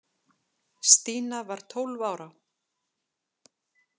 Stína var tólf ára.